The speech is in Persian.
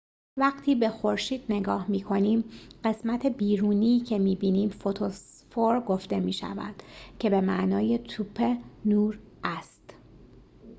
وقتی به خورشید نگاه می‌کنیم قسمت بیرونی که می‌بینیم فوتوسفر گفته می‌شود که به معنی توپ نور است